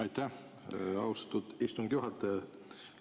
Aitäh, austatud istungi juhataja!